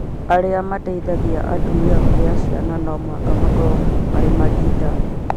Arĩa mateithagia atumia kũgia ciana no mũhaka makorwo marĩ arigitani?